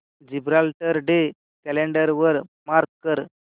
Gibraltar day calendar वर mark कर